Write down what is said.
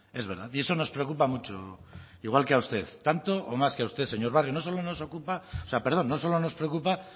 es verdad y eso nos preocupa mucho igual que a usted tanto o más que a usted señor barrio no solo nos ocupa o sea no solo nos preocupa